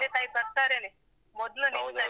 ತಂದೆ ತಾಯಿ ಬರ್ತಾರೆನೇ, ಮೊದ್ಲಿನಿಂದಲೇ.